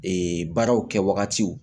Ee baaraw kɛ wagatiw